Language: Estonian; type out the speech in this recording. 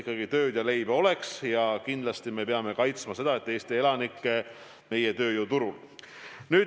Aga kindlasti me peame kaitsma eelkõige Eesti elanikke meie tööjõuturul.